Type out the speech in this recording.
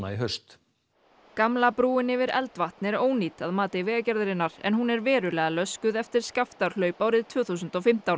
í haust gamla brúin yfir Eldvatn er ónýt að mati Vegagerðarinnar en hún er verulega löskuð eftir árið tvö þúsund og fimmtán